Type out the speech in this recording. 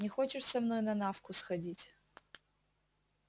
не хочешь со мной на навку сходить